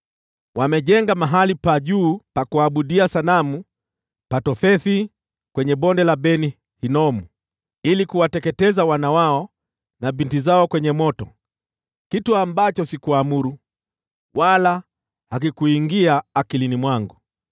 Wamejenga mahali pa juu pa kuabudia sanamu pa Tofethi kwenye Bonde la Ben-Hinomu ili kuwateketeza wana wao na binti zao kwenye moto, kitu ambacho sikuamuru, wala hakikuingia akilini mwangu.